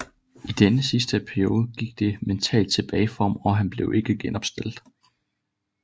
I denne sidste periode gik det mentalt tilbage for ham og han blev ikke genopstillet